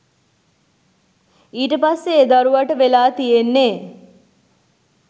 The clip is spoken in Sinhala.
ඊට පස්සේ ඒ දරුවට වෙලා තියෙන්නේ